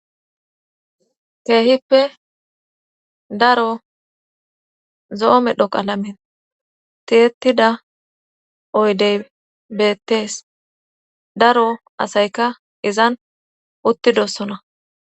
keehippe daro zoo medhoqalamen tietida oydey beettees daro asayka izan uttidossona